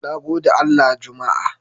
Nagodewa Allah juma'a